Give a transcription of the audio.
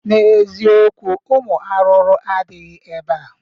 N'eziokwu, Ụmụ arụrụ adịghị ebea